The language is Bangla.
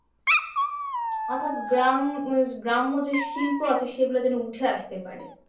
অর্থাৎ গ্রাম উহ গ্রাম্য যে শিল্প আছে সেগুলো যেন উঠে আসতে পারে।